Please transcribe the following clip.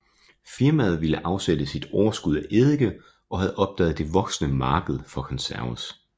Firmaet ville afsætte sit overskud af eddike og havde opdaget det voksende marked for konserves